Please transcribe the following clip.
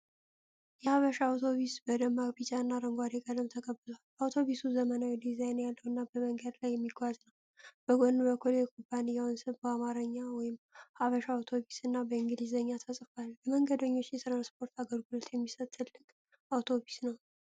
የሐበሻ አውቶቡስ በደማቅ ቢጫና አረንጓዴ ቀለም ተቀብቷል። አውቶቡሱ ዘመናዊ ዲዛይን ያለውና በመንገድ ላይ የሚጓዝ ነው። በጎን በኩል የኩባንያው ስም በአማርኛ (ሐበሻ አውቶቡስ) እና በእንግሊዝኛ ተጽፏል። ለመንገደኞች የትራንስፖርት አገልግሎት የሚሰጥ ትልቅ አውቶቡስ ነው።